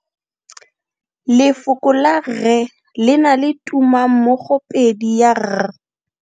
Lefoko la rre le na le tumammogopedi ya, r.